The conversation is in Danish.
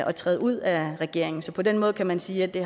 at træde ud af regeringen så på den måde kan man sige at det